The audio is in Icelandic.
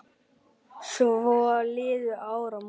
Svo liðu áramót.